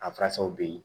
A furasɔw bɛ yen